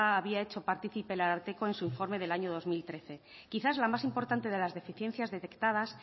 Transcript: había hecho partícipe el ararteko en su informe del año dos mil trece quizá la más importante de las deficiencias detectadas